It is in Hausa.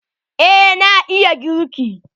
Eh na iya girki.